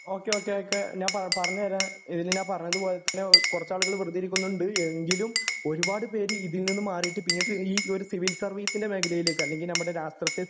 O K okay ഞാൻ പറഞ്ഞു തരാം ഇതില് ഞാൻ പറഞ്ഞത് പോലെ തന്നെ കുറച്ച് ആൾക്കാര് വെറുതെ ഇരിക്കുന്നുണ്ടു എങ്കിലും ഒരുപാട് പേര് ഇതിൽ നിന്നും മാറിയിട്ട് പിന്നീട് ഈ ഒരു സിവിൽ സരവീസിന്റെ മേഖലയിലേക്ക് അല്ലെങ്കില് രാഷ്ട്രത്തെ സേവിക്കുക